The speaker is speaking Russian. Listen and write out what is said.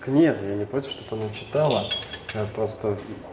нет я не против чтоб она читала я просто